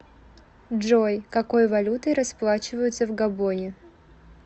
джой какой валютой расплачиваются в габоне